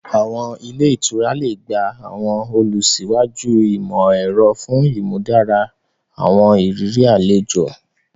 Àwọn ilẹ́ ìtura le gba àwọn ìlọsíwájú imọ-ẹrọ fun ìmúdára àwọn ìrírí àlejò